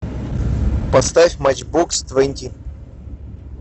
поставь матчбокс твенти